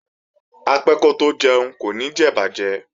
Apẹ́ kótó jẹun kò ní jẹ ìbàjẹ́